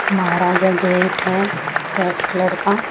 महाराजा great है red colour का।